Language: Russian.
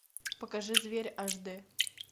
покажи зверь аш д